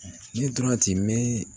Yiri dɔrɔn tɛ mɛ